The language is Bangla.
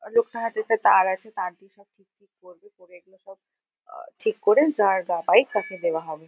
লোকটার হাতে একটা তার আছে। তার দিয়ে সব ঠিক ঠিক করবে। করে এগুলো সব আ ঠিক করে যার বাইক তাকে দেওয়া হবে।